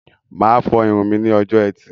Máa fọ irun mí ní ọjọ ẹtì